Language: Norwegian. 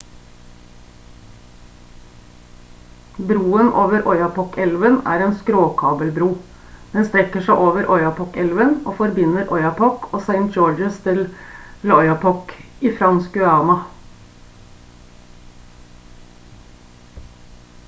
broen over oyapok-elven er en skråkabelbro den strekker seg over oyapok-elven og forbinder oyapock og saint-georges-de-l'oyapock i fransk guyana